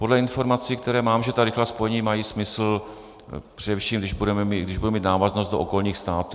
Podle informací, které mám, že ta rychlá spojení mají smysl, především když budou mít návaznost do okolních států.